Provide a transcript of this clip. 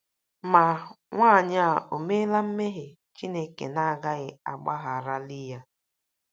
Ma, nwaanyị a ò meela mmehie Chineke na - agaghị agbagharali ya?